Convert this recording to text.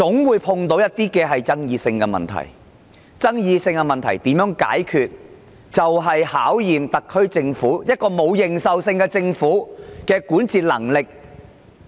面對一些具爭議性的問題，如何解決問題便要考驗特區政府——這個沒有認受性的政府——的管治能力。